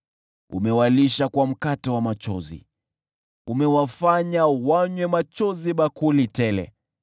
Umewalisha kwa mkate wa machozi, umewafanya wanywe machozi bakuli tele.